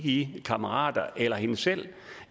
i kammerater eller hende selv